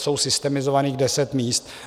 Je systemizovaných deset míst.